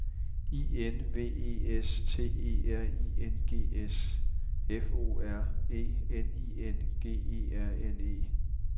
I N V E S T E R I N G S F O R E N I N G E R N E